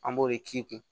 An b'o de k'i kun